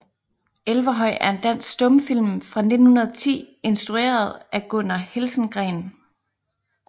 Elverhøj er en dansk stumfilm fra 1910 instrueret af Gunnar Helsengreen